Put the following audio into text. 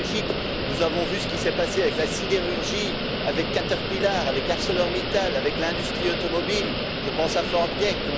En Belgique, nous avons vu ce qui s'est passé avec la sidérurgie, avec Caterpillar, avec ArcelorMittal, avec l'industrie automobile je pense à Ford Genk.